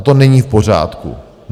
A to není v pořádku.